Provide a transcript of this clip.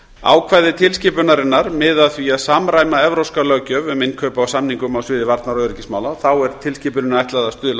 ákvæði tilskipunarinnar miða að því að samræma evrópska löggjöf um innkaup á samningum á sviði varnar og öryggismála þá er tilskipuninni ætlað að stuðla að